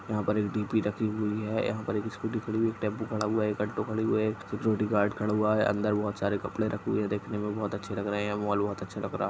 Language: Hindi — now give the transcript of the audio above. यहाँ पर एक रखी हुई है यहाँ पर एक स्कूटी खड़ी हुई है एक टेम्पू खड़ा है खड़ी हुई है एक बॉडीगार्ड खड़ा हुआ है अंदर बहुत सारे कपडे रखे हुए है देखने में बहुत अच्छे लग रहे हैमॉल बहोत अच्छा लग रहा --